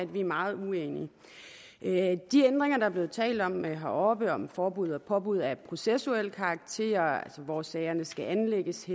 vi er meget uenige de ændringer der er blevet talt om heroppe om forbud og påbud af processuel karakter altså hvor sagerne skal anlægges